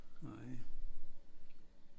Nej